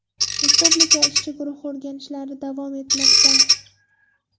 Respublika ishchi guruhi o‘rganishlari davom etmoqda.